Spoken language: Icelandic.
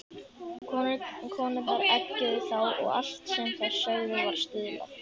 Konurnar eggjuðu þá og allt sem þær sögðu var stuðlað.